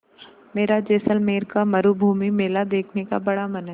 मेरा जैसलमेर का मरूभूमि मेला देखने का बड़ा मन है